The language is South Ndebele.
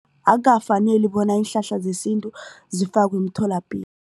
Akukafaneli bona iinhlahla zesintu zifakwe emtholapilo.